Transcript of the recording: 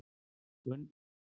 Gunnar kynnti fjárhagsáætlun sín